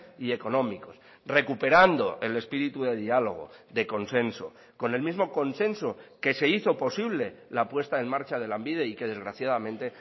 y económicos recuperando el espíritu de diálogo de consenso con el mismo consenso que se hizo posible la puesta en marcha de lanbide y que desgraciadamente